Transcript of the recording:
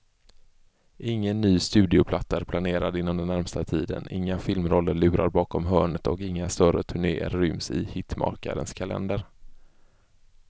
Ingen ny studioplatta är planerad inom den närmaste tiden, inga filmroller lurar bakom hörnet och inga större turnéer ryms i hitmakarens kalender.